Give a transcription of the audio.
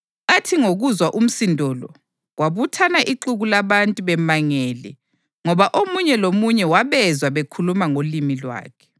Athi ngokuzwa umsindo lo, kwabuthana ixuku labantu bemangele ngoba omunye lomunye wabezwa bekhuluma ngolimi lwakhe.